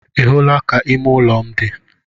Ị hụla ka ime ụlọ m dị?